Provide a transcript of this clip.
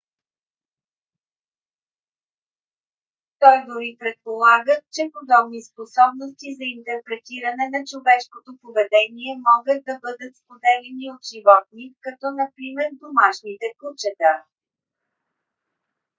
той дори предполага че подобни способности за интерпретиране на човешкото поведение могат да бъдат споделени от животни като например домашните кучета